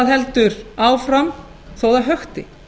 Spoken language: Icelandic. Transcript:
heldur áfram þó það hökti